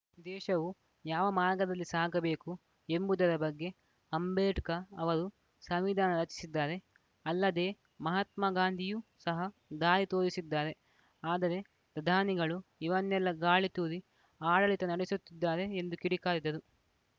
ದೇಶವು ಯಾವ ಮಾರ್ಗದಲ್ಲಿ ಸಾಗಬೇಕು ಎಂಬುದರ ಬಗ್ಗೆ ಅಂಬೇಡ್ಕ ಅವರು ಸಂವಿಧಾನ ರಚಿಸಿದ್ದಾರೆ ಅಲ್ಲದೇ ಮಹಾತ್ಮ ಗಾಂಧಿಯೂ ಸಹ ದಾರಿ ತೋರಿಸಿದ್ದಾರೆ ಆದರೆ ಪ್ರಧಾನಿಗಳು ಇವನ್ನೆಲ್ಲಾ ಗಾಳಿ ತೂರಿ ಆಡಳಿತ ನಡೆಸುತ್ತಿದ್ದಾರೆ ಎಂದು ಕಿಡಿಕಾರಿದರು